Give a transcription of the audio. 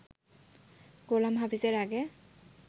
গোলাম হাফিজ এর আগে